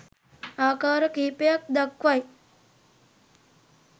ආකාර කීපයක් දක්වයි